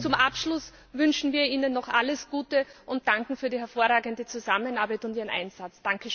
Zum Abschluss wünschen wir Ihnen noch alles Gute und danken für die hervorragende Zusammenarbeit und Ihren Einsatz!